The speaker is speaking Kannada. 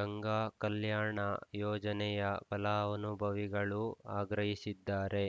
ಗಂಗಾ ಕಲ್ಯಾಣ ಯೋಜನೆಯ ಫಲಾನುಭವಿಗಳು ಆಗ್ರಹಿಸಿದ್ದಾರೆ